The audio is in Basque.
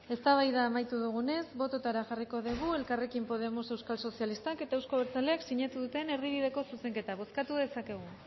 eztabaida amaitu dugunez botoetara jarriko dugu elkarrekin podemos euskal sozialistak eta euzko abertzaleak sinatu duten erdibideko zuzenketa bozkatu dezakegu